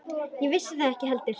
Ég vissi það ekki heldur.